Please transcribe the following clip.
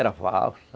Era valsa.